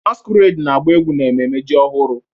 Masquerade na-agba egwu n'ememme ji ọhụrụ